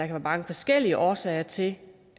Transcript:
være mange forskellige årsager til